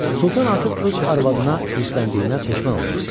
Sultan artıq öz arvadına hirsləndiyinə peşman olmuşdu.